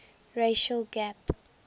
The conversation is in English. racial gap